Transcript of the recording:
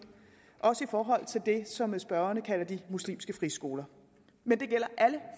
også i forhold til dem som spørgerne kalder de muslimske friskoler men det gælder alle